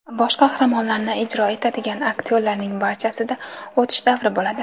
Bosh qahramonlarni ijro etadigan aktyorlarning barchasida o‘tish davri bo‘ladi.